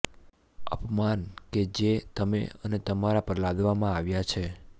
અપમાન કે જે તમે અને તમારા પર લાદવામાં આવ્યા છે